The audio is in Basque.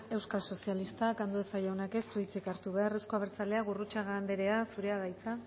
euskal sozialistak andueza jaunak ez du hitzik hartu behar euzko abertzaleak gurrutxaga anderea zurea da hitza